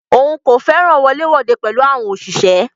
Òun kò fẹràn wọlé wode pẹ̀lú àwọn òṣìṣẹ́.